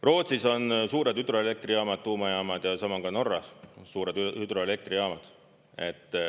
Rootsis on suured hüdroelektrijaamad, tuumajaamad ja sama on ka Norras, suured hüdroelektrijaamad.